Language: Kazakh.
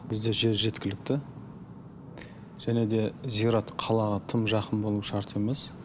бізде жер жеткілікті және де зират қалаға тым жақын болу шарт емес